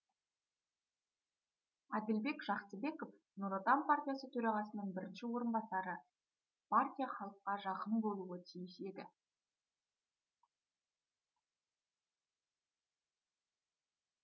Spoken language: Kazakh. әділбек жақсыбеков нұр отан партиясы төрағасының бірінші орынбасары партия халыққа жақын болуы тиіс еді